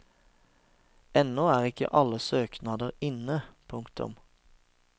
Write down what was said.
Ennå er ikke alle søknader inne. punktum